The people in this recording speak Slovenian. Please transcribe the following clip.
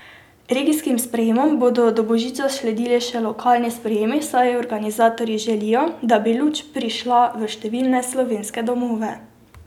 Regijskim sprejemom bodo do božiča sledili še lokalni sprejemi, saj organizatorji želijo, da bi luč prišla v številne slovenske domove.